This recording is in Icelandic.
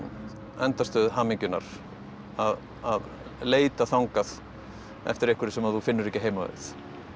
endastöð hamingjunnar að leita þangað eftir einhverju sem þú finnur ekki heima við